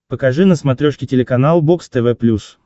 покажи на смотрешке телеканал бокс тв плюс